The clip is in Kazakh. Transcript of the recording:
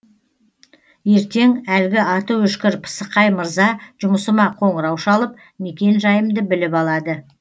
ертең әлгі аты өшкір пысықай мырза жұмысыма қоңырау шалып мекен жайымды біліп алады